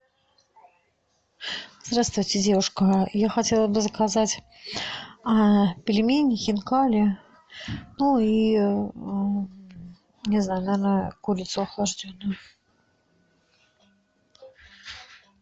здравствуйте девушка я хотела бы заказать пельмени хинкали ну и не знаю наверное курицу охлажденную